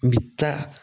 N bɛ taa